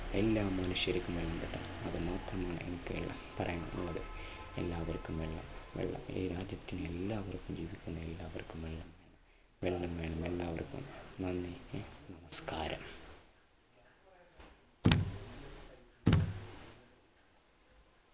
എല്ലാ മനുഷ്യർക്കും വെള്ളം കിട്ടണം അത് മാത്രമാണ് എനിക്ക് പറയാനുള്ളത്. എല്ലാവർക്കും വെള്ളം, വെള്ളം ഈ രാജ്യത്തിലെ എല്ലാവർക്കും കിട്ടണം എല്ലാവർക്കും വെള്ളം. വെള്ളം വേണം എല്ലാവർക്കും നന്ദി നമസ്കാരം.